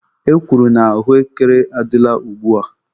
E kwuru na ahụekere adịla ugba.